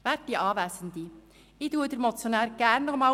Ich wiederhole gerne, was der Motionär gesagt hat.